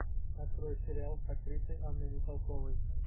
открой сериал с актрисой анной михалковой